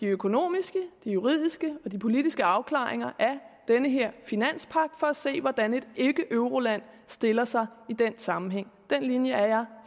økonomiske juridiske og politiske afklaringer af den her finanspagt for at se hvordan et ikkeeuroland stiller sig i den sammenhæng den linje er jeg